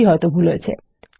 এটি হিত ভুল হয়েছে